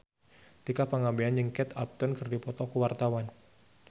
Tika Pangabean jeung Kate Upton keur dipoto ku wartawan